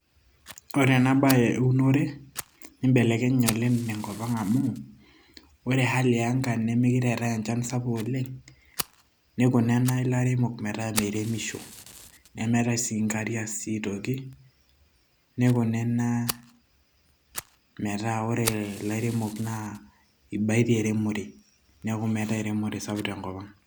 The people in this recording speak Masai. ore ena baye eunore nibelekenye oleng tenkop ang amuu ore hali ee anga nemeekire eetay enchan sapuk oleng, nikuna ena ilaremok metaa meiremisho nemeetay sii nkariak sii aitoki nikuna ena metaa ore ilairemok naa ibaitie eremore neeku meetay eremore sapuk tenkop ang.